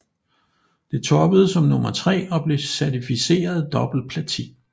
Det toppede som nummer tre og blev certificeret dobbelt platin